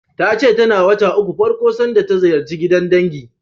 Ta ce tana wata ukun farko sanda ta ziyarci gidan dangi.